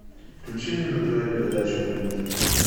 включи мне на тв передачу мульт